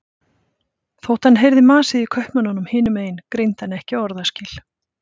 Þótt hann heyrði masið í kaupmönnunum hinum megin greindi hann ekki orðaskil.